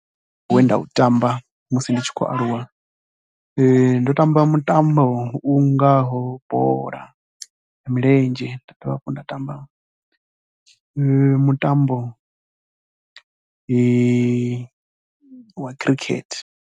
Mutambo we nda u tamba musi ndi tshi khou aluwa, ndo tamba mutambo u ngaho bola ya milenzhe nda dovha hafhu nda tamba mutambo wa khirikhethe.